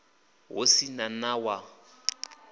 hu si na na wa